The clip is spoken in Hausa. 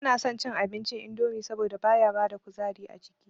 Ba na son cin abinci indomi saboda baya bada kuzari ajiki